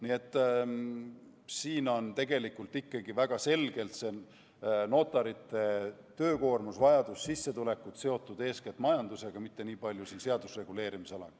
Nii et siin on ikkagi väga selgelt notarite töökoormus, vajadus ja sissetulekud seotud eeskätt majandusega, mitte nii palju seaduse reguleerimisalaga.